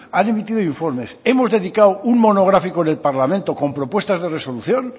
han emitido informes hemos dedicado un monográfico en el parlamento con propuestas de resolución